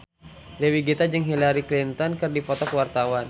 Dewi Gita jeung Hillary Clinton keur dipoto ku wartawan